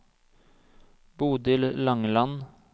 Bodil Langeland